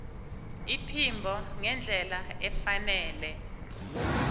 iphimbo ngendlela efanele